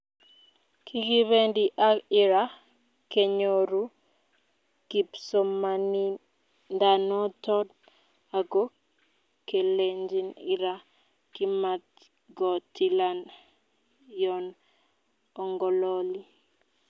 Kigipendi ag Ira kenyoru kipsomaniandanoton ago kilenjin Ira komatgotilan yon ongololi